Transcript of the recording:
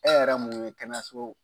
Ɛ yɛrɛ mun ye kɛnɛyaso